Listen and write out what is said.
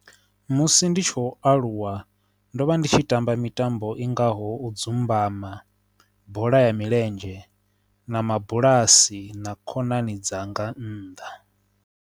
Musi ndi tshi u aluwa ndo vha ndi tshi tamba mitambo i ngaho u dzumbama bola ya milenzhe na mabulasi na khonani dzanga nnḓa.